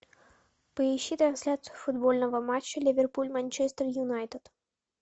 поищи трансляцию футбольного матча ливерпуль манчестер юнайтед